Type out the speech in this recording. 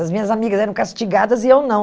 As minhas amigas eram castigadas e eu não.